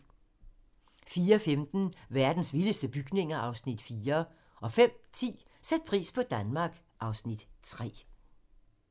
04:15: Verdens vildeste bygninger (Afs. 4) 05:10: Sæt pris på Danmark (Afs. 3)